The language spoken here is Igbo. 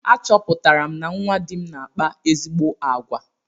A chọpụtara na nwa dị m na-akpa ezi àgwà.